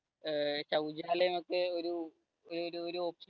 ഏർ ശൗചാലയം ഒക്കെ ഒരു ഒരു ഒരു